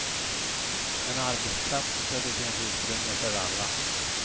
En arbetsplats där det finns utrymme för alla.